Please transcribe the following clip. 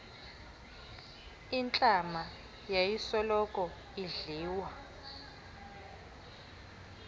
intlama yayisoloko idliwa